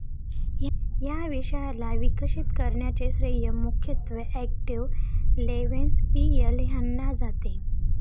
या विषयाला विकसित करण्याचे श्रेय मुख्यत्वे ऑक्टेव लेवेन्सपीएल यांना जाते.